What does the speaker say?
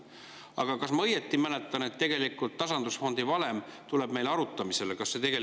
Aga kas ma mäletan õieti, et tasandusfondi valem tuleb meile arutamisele?